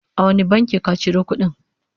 a wani bankin ka Ciro kudin?